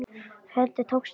Hvernig tókst þetta?